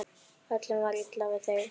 Öllum er illa við þig!